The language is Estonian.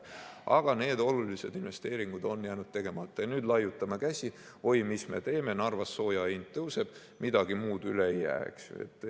Aga need olulised investeeringud on jäänud tegemata ja nüüd laiutame käsi: oi, mis me teeme, Narvas sooja hind tõuseb, midagi muud üle ei jää.